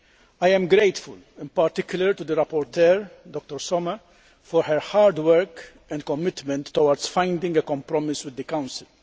I am grateful, in particular, to the rapporteur, Dr Sommer, for her hard work and commitment towards finding a compromise with the Council.